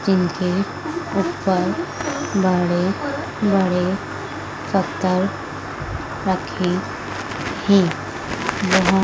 जिनके ऊपर बड़े बड़े पत्थर रखे हैं वहां--